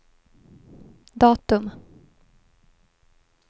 datum